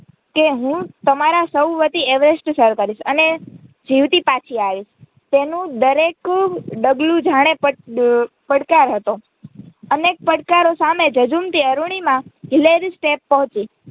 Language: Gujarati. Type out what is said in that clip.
કે હું તમારા સૌ વતી એવરેસ્ટ સર કરીશ અને જીવતી પાછી આવીશ તેનું દરેક ડગલું જાણે પડકાર હતો અનેક પડકારો સામે ઝઝુમતી અરૂણિમા હિલેરી સ્ટેપ પહોંચી.